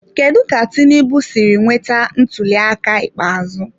Kedu ka Tinubu siri nweta ntuliaka ikpeazụ?